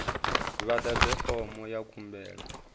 vha ḓadze fomo ya khumbelo